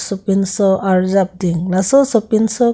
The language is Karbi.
sopinso arjap ding laso sopinso--